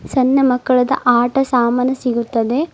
ಸಣ್ಣ ಮಕ್ಕಳದ ಆಟ ಸಾಮಾನು ಸಿಗುತ್ತದೆ.